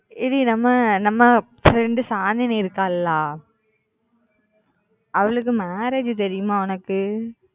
ஏடி நம்ம நம்ம friend Shanthini இருக்காளா அவளுக்கு marriage தெரியுமா உனக்கு